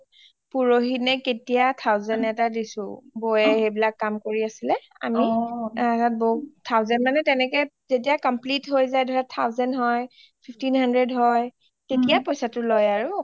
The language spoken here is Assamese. পোৰহী নে কেতিয়া thousand এটা দিছোঁ বৌয়ে সেইবিলাক কাম কৰি আছিলে আমি বৌক thousand মানে তেনেকে যেতিয়া complete হয় জাই ধৰা thousand হয় fifteen hundred হয় তেতিয়া পইছা টো লয় আৰু